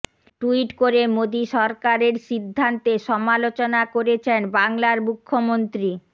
tweet করে মোদি সরকারের সিদ্ধান্তে সমালোচনা করেছেন বাংলার মুখ্যমন্ত্রী